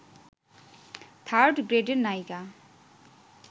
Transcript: third গ্রেডের নায়িকা